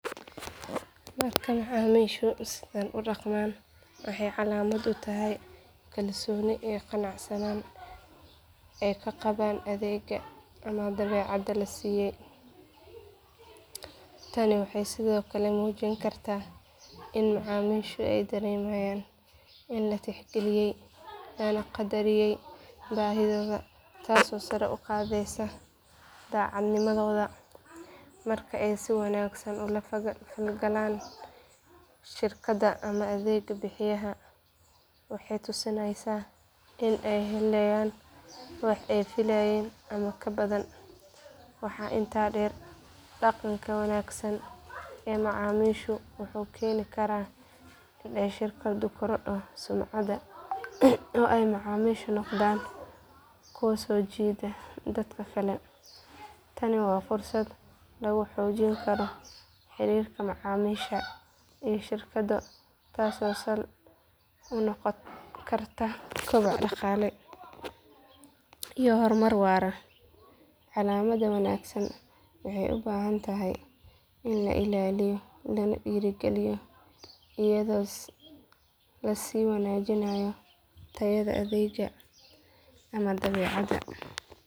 Marka macaamiishu sidan u dhaqmaan waxay calaamad u tahay kalsooni iyo qanacsanaan ay ka qabaan adeegga ama badeecadda la siiyay. Tani waxay sidoo kale muujin kartaa in macaamiishu ay dareemayaan in la tixgeliyay lana qadariyay baahidooda taasoo sare u qaadaysa daacadnimadooda. Marka ay si wanaagsan u la falgalaan shirkadda ama adeeg bixiyaha waxay tusinaysaa in ay helayaan wax ay filayeen ama ka badan. Waxaa intaa dheer dhaqanka wanaagsan ee macaamiisha wuxuu keeni karaa in ay shirkaddu korodho sumcadda oo ay macaamiishaasi noqdaan kuwo soo jiida dad kale. Tani waa fursad lagu xoojin karo xiriirka macaamiisha iyo shirkadda taasoo sal u noqon karta koboc dhaqaale iyo horumar waara. Calaamaddan wanaagsan waxay u baahan tahay in la ilaaliyo lana dhiirrigeliyo iyadoo la sii wanaajinayo tayada adeegga ama badeecadda.